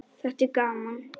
Þetta er gaman.